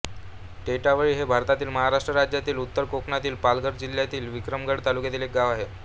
टेटावळी हे भारतातील महाराष्ट्र राज्यातील उत्तर कोकणातील पालघर जिल्ह्यातील विक्रमगड तालुक्यातील एक गाव आहे